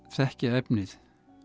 þekkja efnið